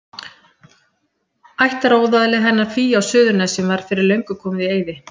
Ættaróðalið hennar Fíu á Suðurnesjum var fyrir löngu komið í eyði.